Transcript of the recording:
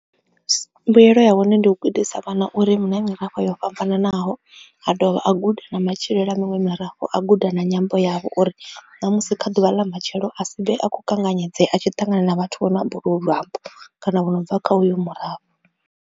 Mbuyelo ya hone ndi u gudisa vhana uri hu na mirafho yo fhambananaho a dovha a guda na matshilo a miṅwe mirafho a guda na nyambo yavho, uri ṋamusi kha ḓuvha ḽa matshelo a si vhe a kho kanganyedzea a tshi ṱangana na vhathu vho no amba olwu luambo kana vho no bva kha uyo murafho.